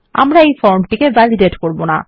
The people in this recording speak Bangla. আমরা এই ফর্ম টিকে ভ্যালিডেট করব না